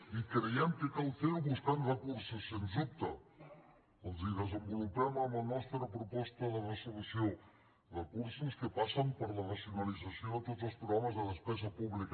i creiem que cal fer ho buscant recursos sens dubte els ho desenvolupem en la nostra proposta de resolució recursos que passen per la racionalització de tots els programes de despesa pública